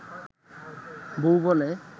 বউ বলে